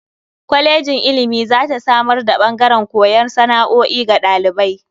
Kwalejin ilimi za ta samar da ɓangaren koyar da sana'o'i ga ɗalibai.